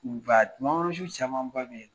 camanba bɛ